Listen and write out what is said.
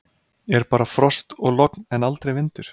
Er bara frost og logn en aldrei vindur?